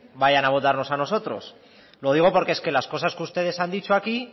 vayan a votarnos a nosotros lo digo porque es que las cosas que ustedes han dicho aquí